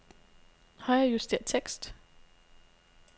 Højrejuster tekst.